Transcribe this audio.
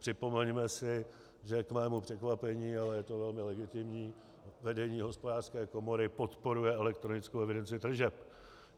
Připomeňme si, že k mému překvapení, ale je to velmi legitimní, vedení Hospodářské komory podporuje elektronickou evidenci tržeb.